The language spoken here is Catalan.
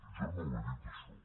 jo no ho he dit això